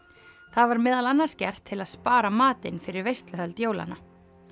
það var meðal annars gert til að spara matinn fyrir veisluhöld jólanna